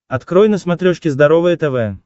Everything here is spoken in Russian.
открой на смотрешке здоровое тв